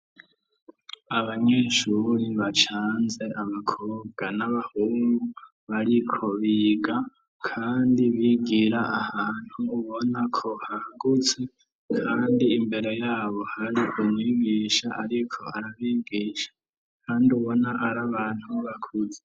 Abanyeshuri bacanze abakobwa n'abahungu bariko biga, kandi bigira ahantu ubona ko hagutse kandi imbere yabo hari umwigisha ariko arabigisha kandi ubona ari abantu bakuze.